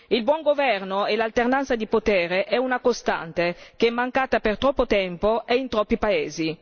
Il buon governo e l'alternanza di potere è una costante che è mancata per troppo tempo e in troppi paesi.